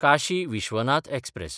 Kashi Vishwanath express